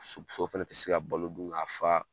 Su so fɛnɛ tɛ se ka balo dun ka fa.